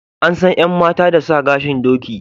An san yan mata da sa gashin doki